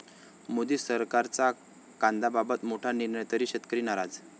मोदी सरकारचा कांद्याबाबत मोठा निर्णय, तरीही शेतकरी नाराज